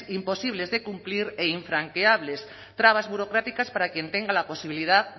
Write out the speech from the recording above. imposibles de cumplir e infranqueables trabas burocráticas para quien tenga la posibilidad